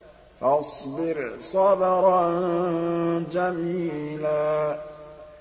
فَاصْبِرْ صَبْرًا جَمِيلًا